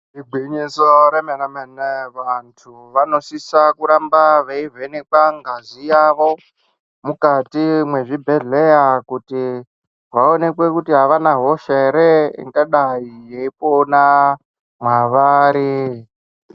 Igwinyiso remene-mene, vantu vanosisa kuramba veivhenekwa ngazi yavo mukati mwezvibhedhleya kuti vaonekwe kuti havana hosha ere ingadai yeipona mwavari.